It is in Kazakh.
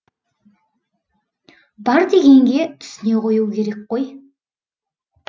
бар дегенге түсіне қою керек қой